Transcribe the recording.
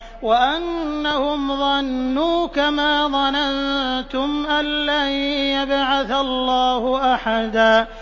وَأَنَّهُمْ ظَنُّوا كَمَا ظَنَنتُمْ أَن لَّن يَبْعَثَ اللَّهُ أَحَدًا